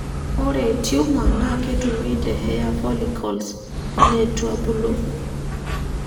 Ore Tumor na ketumi te hair folliccles letuebulu.